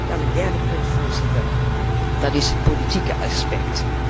Dan het derde punt, Voorzitter, dat is het politieke aspect.